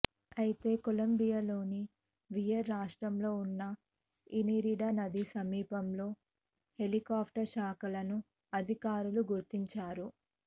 అయితే కొలంబియాలోని వియర్ రాష్ట్రంలో ఉన్న ఇనిరిడా నది సమీపంలో హెలికాప్టర్ శకలాలను అధికారులు గుర్తించారు